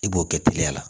I b'o kɛ teliya la